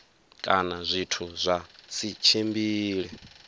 kana zwithu zwa si tshimbile